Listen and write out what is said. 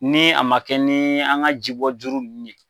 Ni a ma kɛ ni, an ga ji bɔ juru nunnu ye.